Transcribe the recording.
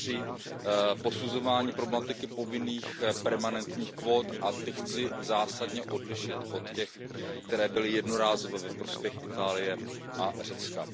při posuzování problematiky povinných permanentních kvót a ty chci zásadně odlišit od těch, které byly jednorázově ve prospěch Itálie a Řecka.